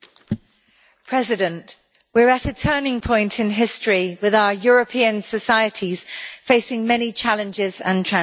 Mr President, we are at a turning point in history, with our European societies facing many challenges and transitions.